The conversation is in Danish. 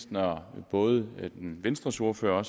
når både venstres ordfører og